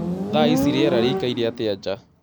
thaa ĩcĩ rĩera rĩĩkaĩre atĩa nja